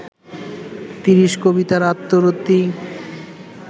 তিরিশি কবিতার আত্মরতি